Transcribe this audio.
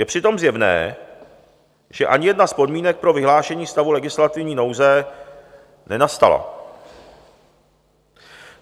Je přitom zjevné, že ani jedna z podmínek pro vyhlášení stavu legislativní nouze nenastala.